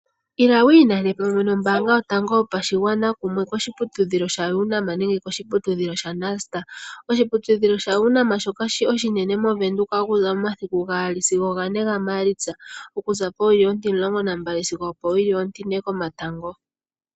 Ila wi inane pamwe nombaanga yotango yopashigwana koshiputudhilo shaUNAM nenge koshiputudhilo shaNust. Oshiputudhilo shaUNAM shoka oshinene moVenduka okuza momasiku gaali sigo gane ga maalitsa okuza powili ontimulongo nambali sigo opo wili online komatango